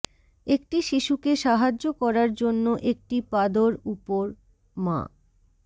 একটি শিশুকে সাহায্য করার জন্য একটি পাদর উপর মা